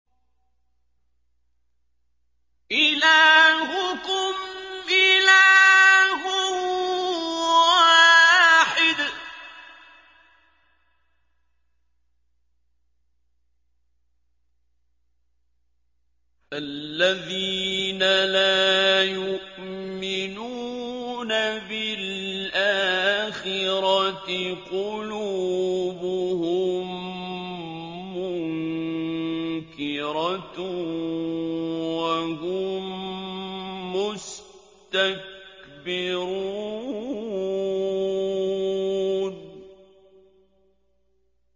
إِلَٰهُكُمْ إِلَٰهٌ وَاحِدٌ ۚ فَالَّذِينَ لَا يُؤْمِنُونَ بِالْآخِرَةِ قُلُوبُهُم مُّنكِرَةٌ وَهُم مُّسْتَكْبِرُونَ